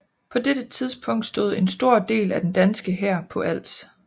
På dette tidspunkt stod en stor del af den danske hær på Als